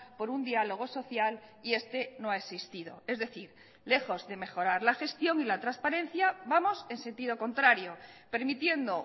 por un diálogo social y este no ha existido es decir lejos de mejorar la gestión y la transparencia vamos en sentido contrario permitiendo